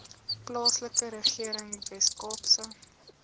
plaaslike regering weskaapse